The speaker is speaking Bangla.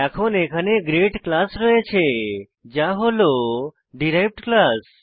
এখন এখানে গ্রেড ক্লাস রয়েছে যা হল ডিরাইভড ক্লাস